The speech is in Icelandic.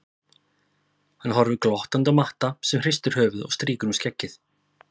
Hann horfir glottandi á Matta sem hristir höfuðið og strýkur um skeggið.